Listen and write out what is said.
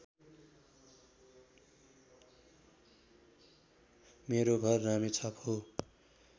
मेरो घर रामेछाप हो